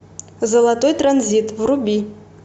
золотой транзит вруби